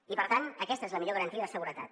i per tant aquesta és la millor garantia de seguretat